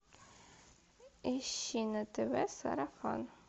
ищи на тв сарафан